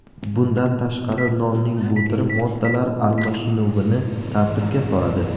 Bundan tashqari nonning bu turi moddalar almashinuvini tartibga soladi.